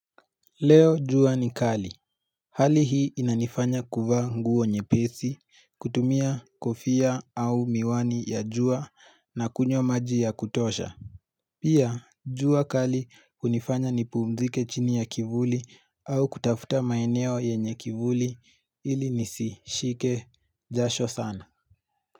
Leo jua ni kali, hali hii inanifanya kuvaa nguo nyepesi, kutumia kofia au miwani ya jua na kunywa maji ya kutosha Pia jua kali hunifanya nipumzike chini ya kivuli au kutafuta maeneo yenye kivuli ili nisishike jasho sana.